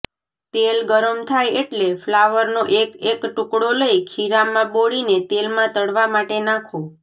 તેલ ગરમ થાય એટલે ફ્લાવરનો એક એક ટુકડો લઈ ખીરામાં બોળીને તેલમાં તળવા માટે નાખો